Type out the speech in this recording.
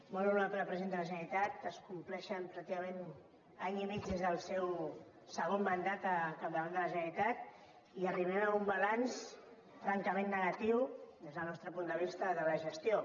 molt honorable president de la generalitat es compleix pràcticament any i mig des del seu segon mandat al capdavant de la generalitat i hi arribem amb un balanç francament negatiu des del nostre punt de vista de la gestió